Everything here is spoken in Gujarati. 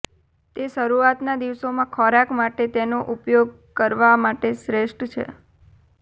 તે શરૂઆતના દિવસોમાં ખોરાક માટે તેનો ઉપયોગ કરવા માટે શ્રેષ્ઠ છે